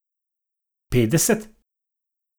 Petdeset?